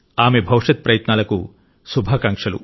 ఆమె భవిష్యత్ ప్రయత్నాలకు శుభాకాంక్షలు